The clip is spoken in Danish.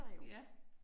Ja